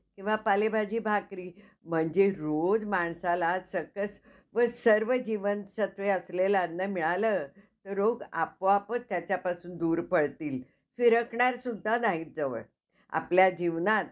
किंवा पालेभाजी भाकरी म्हणजे रोज माणसाला सकस व सर्व जीवनसत्वे असलेलं अन्न मिळालं रोग आपोआपच त्याच्यापासून दूर पळतील. फिरकणार सुद्धा नाही जवळ. आपल्या जीवनात